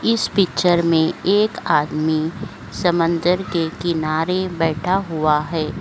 इस पिक्चर मे एक आदमी समंदर के किनारे बैठा हुआ है।